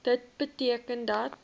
dit beteken dat